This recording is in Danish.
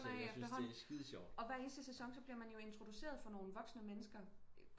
Og efterhånden og hver sæson bliver man jo introduceret for nogen voksne mennesker